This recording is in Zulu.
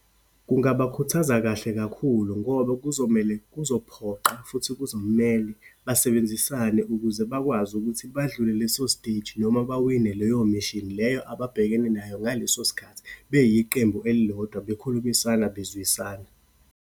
Kungabakhuthaza kahle kakhulu ngoba kuzomele, kuzophoqa futhi kuzomele basebenzisane ukuze bakwazi ukuthi badlule leso siteji noma bawine leyo mission leyo ababhekene nayo ngaleso sikhathi, beyiqembu elilodwa, bekhulumisana, bezwisana.